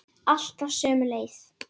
Alltaf sömu leið.